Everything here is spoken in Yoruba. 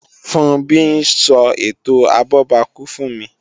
Funbí ń sọ ètò abọ́bakú fún mi